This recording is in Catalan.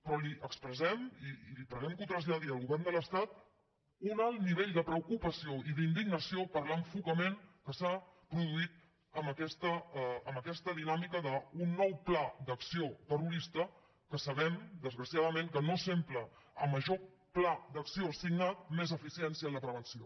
però li ho expressem i li preguem que ho traslladi al govern de l’estat un alt nivell de preocupació i d’indignació per l’enfocament que s’ha produït amb aquesta dinàmica d’un nou pla d’acció terrorista que sabem desgraciadament que no sempre a major pla d’acció signat més eficiència en la prevenció